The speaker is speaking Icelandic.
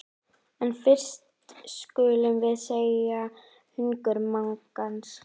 En fyrst skulum við seðja hungur magans.